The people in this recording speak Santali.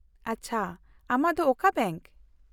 -ᱟᱪᱪᱷᱟ, ᱟᱢᱟᱜ ᱫᱚ ᱚᱠᱟ ᱵᱮᱝᱠ ?